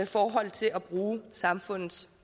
forhold til at bruge samfundets